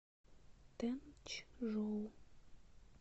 тэнчжоу